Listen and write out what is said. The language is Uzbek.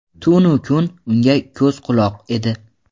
tunu kun unga ko‘z-quloq edi.